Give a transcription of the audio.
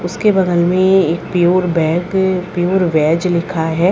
उसके बगल में एक प्योर बैक प्योर वेज लिखा है।